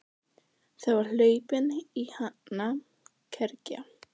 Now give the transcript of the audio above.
Það var hlaupin í hana kergja.